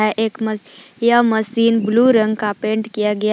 है एक यह मशीन ब्लू रंग का पेंट किया गया--